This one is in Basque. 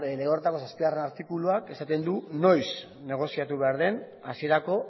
horretako zazpigarren artikuluak esaten du noiz negoziatu behar den hasierako